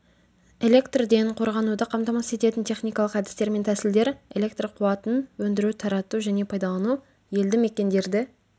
электрден қорғануды қамтамасыз ететін техникалық әдістер мен тәсілдер электр қуатын өндіру тарату және пайдалану елді мекендерді